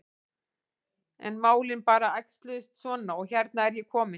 En málin bara æxluðust svona og hérna er ég komin.